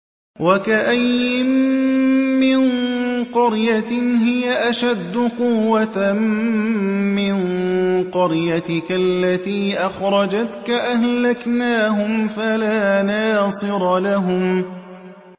وَكَأَيِّن مِّن قَرْيَةٍ هِيَ أَشَدُّ قُوَّةً مِّن قَرْيَتِكَ الَّتِي أَخْرَجَتْكَ أَهْلَكْنَاهُمْ فَلَا نَاصِرَ لَهُمْ